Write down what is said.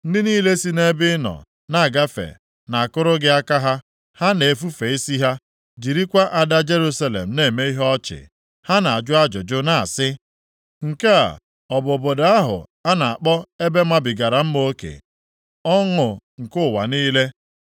Ndị niile si nʼebe ị nọ na-agafe na-akụrụ gị aka ha; ha na-efufe isi ha, jirikwa ada Jerusalem na-eme ihe ọchị. Ha na-ajụ ajụjụ na-asị, “Nke a ọ bụ obodo ahụ a na-akpọ ebe mabigara mma oke, ọṅụ nke ụwa niile?”